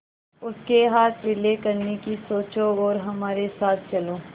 उसके हाथ पीले करने की सोचो और हमारे साथ चलो